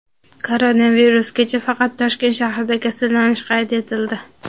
Koronavirus: kecha faqat Toshkent shahrida kasallanish qayd etildi.